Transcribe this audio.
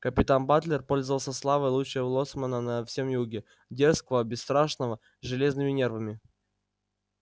капитан батлер пользовался славой лучшего лоцмана на всём юге дерзкого бесстрашного с железными нервами